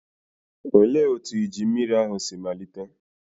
Olee otú iju mmiri ahụ si malite?